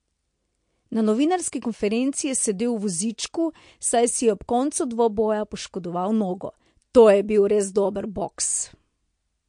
Na novinarski konferenci je sedel v vozičku, saj si je ob koncu dvoboja poškodoval nogo: 'To je bil res dober boks.